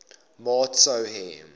maat sou hê